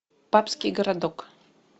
папский городок